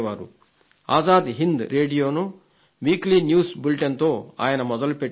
ఆజాద్ హింద్ రేడియోను weekly news బులెటిన్తో ఆయన మొదలుపెట్టారు